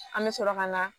An bɛ sɔrɔ ka na